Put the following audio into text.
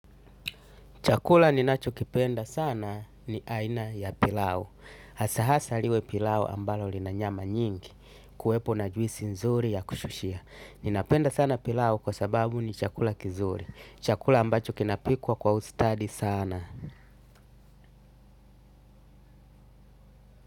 Chakula ninacho kipenda sana ni aina ya pilau. Hasahasa liwe pilau ambalo lina nyama nyingi. Kuwepo na juisi nzuri ya kushushia. Ninapenda sana pilau kwa sababu ni chakula kizuri. Chakula ambacho kinapikwa kwa ustadi sana.